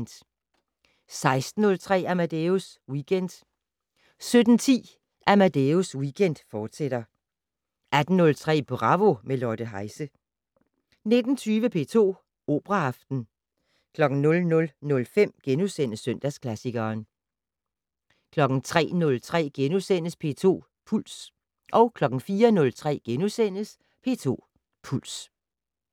16:03: Amadeus Weekend 17:10: Amadeus Weekend, fortsat 18:03: Bravo - med Lotte Heise 19:20: P2 Operaaften 00:05: Søndagsklassikeren * 03:03: P2 Puls * 04:03: P2 Puls *